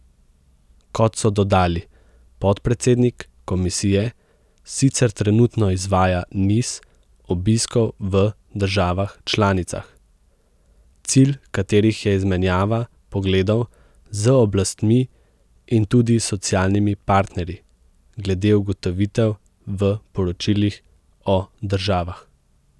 Kot so dodali, podpredsednik komisije sicer trenutno izvaja niz obiskov v državah članicah, cilj katerih je izmenjava pogledov z oblastmi in tudi socialnimi partnerji glede ugotovitev v poročilih o državah.